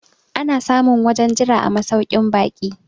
ana samun wajen Jira a masaukin baki